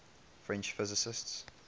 french physicists